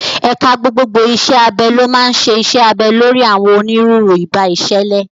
Ẹ̀ka gbogbogbò iṣẹ́ abẹ ló máa ń ṣe iṣẹ́ abẹ lórí àwọn onírúurú ìbá ìṣẹ̀lẹ̀.